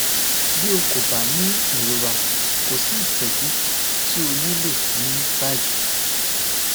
bi o ko ba ni irora ko si itọju ti o nilo ni bayi